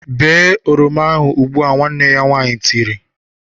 Bee oroma ahụ ugbu! "Nwanne ya nwaanyị tiri.